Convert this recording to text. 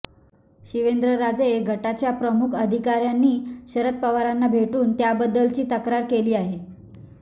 शिवेंद्रराजे गटाच्या प्रमुख पदाधिकाऱ्यांनी शरद पवारांना भेटून त्याबद्दलची तक्रार केली आहे